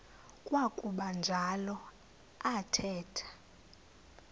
kwakuba njalo athetha